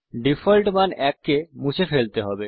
default মান ১ কে মুছে ফেলতে হবে